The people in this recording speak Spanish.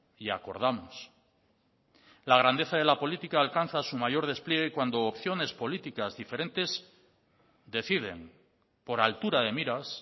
y acordamos la grandeza de la política alcanza su mayor despliegue cuando opciones políticas diferentes deciden por altura de miras